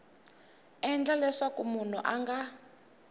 endla leswaku munhu a nga